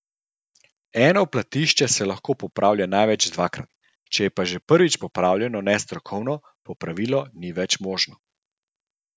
Eno platišče se lahko popravlja največ dvakrat, če pa je že prvič popravljeno nestrokovno, popravilo ni več možno.